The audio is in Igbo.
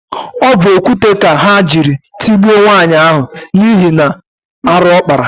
Ọ bụ okwute ka ha jiri tugbuo nwaanyị ahụ n'ihi na arụ ọ kpara.